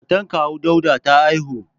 Matar kawu Dauda ta haihu.